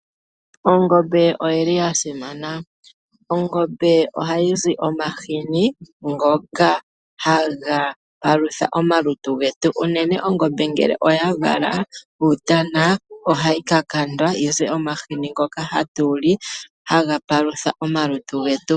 Ongombe oyi li yasimana. Ongombe oha yi zi omashini ngoka ha ga palutha omalutu getu. Uunene Ongombe ngele oya vala uutana oha yi ka kandwa yi ze omashini ngoka ha tu li, ha ga palutha omalutu getu.